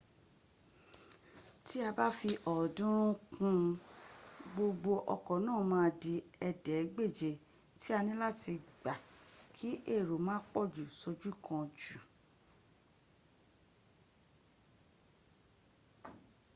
tí a ba fi ọ̀ọ́dúnrún ún kún un gbogbo ọkọ̀ náà ma dí ẹ̀ẹ́dẹ́gbèje tí a níláti gbà kí èrò má pọ̀jù sójú kan jù